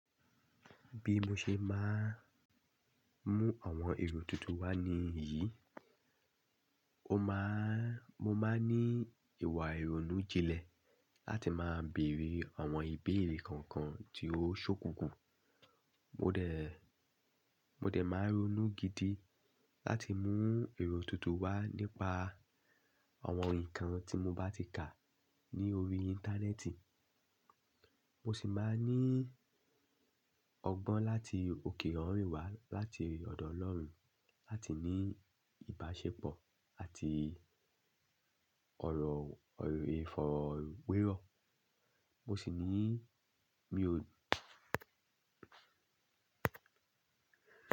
Bí mo ṣe máa mú àwọn èrò tuntun wá níyìí, ó máa, mo máa ní ìwà ìronú jinlẹ̀ láti máa bèrè àwọn ìbéèrè kankan tí ó ṣókùnkùn. Mo dẹ̀, máa ronú gidi láti mú èrò tuntun wá nípa àwọn nǹkan tí mo bá ti kà ní orí Internet Mo sì máa ní ọgbọ́n láti òkè ọ̀rọ̀ ìwà láti ọ̀dọ̀ Ọlọ́run láti ní ìbáṣepọ̀ àti ọ̀rọ̀ ìfọ̀rọ̀wérọ̀. Mo sì ní mi ò.